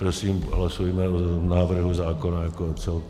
Prosím, hlasujme o návrhu zákona jako celku.